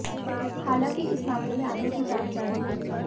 हालांकि इस मामले में आगे की जांच जारी है